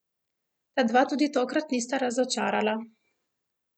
Ta dva tudi tokrat nista razočarala.